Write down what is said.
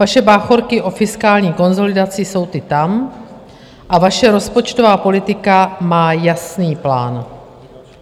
Vaše báchorky o fiskální konsolidaci jsou ty tam a vaše rozpočtová politika má jasný plán.